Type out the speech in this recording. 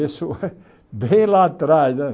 Isso bem lá atrás né.